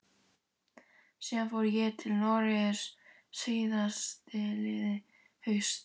Síðan fór ég til Noregs síðastliðið haust.